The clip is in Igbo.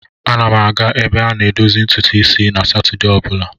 Ana m aga ebe a na-edozi ntutu isi na Satọdee ọ bụla.